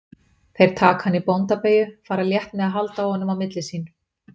Þeir taka hann í bóndabeygju, fara létt með að halda á honum á milli sín.